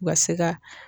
U ka se ka